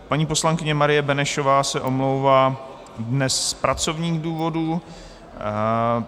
Paní poslankyně Marie Benešová se omlouvá dnes z pracovních důvodů.